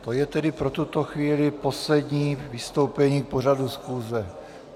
To je tedy pro tuto chvíli poslední vystoupení k pořadu schůze.